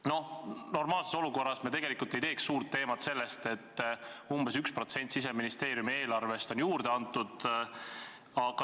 Noh, normaalses olukorras me ei teeks suurt numbrit sellest, et umbes 1% Siseministeeriumi eelarvest on juurde antud.